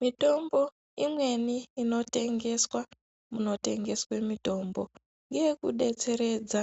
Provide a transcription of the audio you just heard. Mitombo imweni ino tengeswa muno tengeswe mitombo ngeye ku detseredza